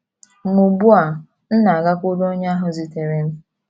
Ma ugbu a m na - agakwuru onye ahụ zitere m...